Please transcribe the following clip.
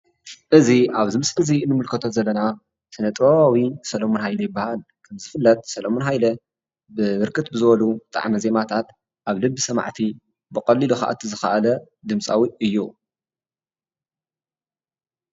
እዚ ኣብዚ ምስሊ እንምልከቶ ዘለና ስነ-ጥበባዊ ሰሎሙን ሃይለ ይባሃል፡፡ ከምዝፍለጥ ሰሎሙን ሃይለ ብብርክት ብዝበሉ ጣዕመ ዜማታት ኣብ ልቢ ሰማዕቲ ብቐሊሉ ክኣቱ ዝኽኣለ ድምፃዊ እዩ፡፡